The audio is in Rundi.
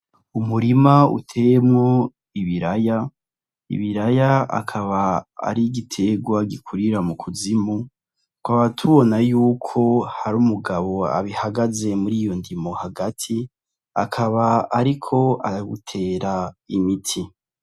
Umurima uteyemwo ibiraya, ibiraya akab'ari igiterwa gikurira mukuzimu tukaba tubona yuko har'umugabo abihagaze mundimo hagati akaba ariko arawuitera imiti.